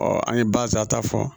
an ye barisa ta fɔ